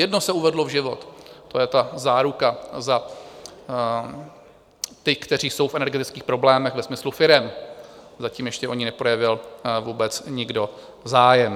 Jedno se uvedlo v život, to je ta záruka za ty, kteří jsou v energetických problémech ve smyslu firem, zatím ještě o ni neprojevil vůbec nikdo zájem.